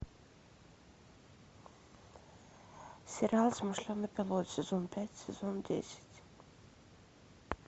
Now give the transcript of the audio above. сериал смышленый пилот сезон пять сезон десять